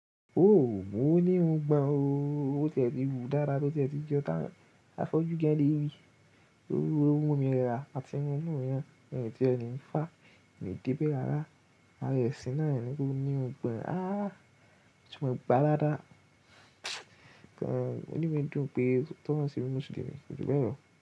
Mo ní irùngbọ̀n ó. O tí ẹ ti hù dáadáa, tó ti ẹ ti jọ tán. Afọ́jú gan lè rí, ooru wo lo mu mi ra. Àtinú mú náà, mi o tí ẹ ní fá, mi de bẹ́ rará. Ara ẹ̀sìn náà ni kó ní irùngbọ̀n. Aá! Ó ti mọ gbá aládàá. Inú mi dùn pé, tọ́ ń ṣíbi Mùsùlùmí, kò gú bẹ́ẹ̀ lọ.